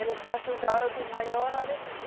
Eles ajudaram de maior alegria.